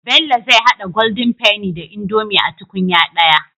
Bello zai hada golden penny da indomie a tukunya daya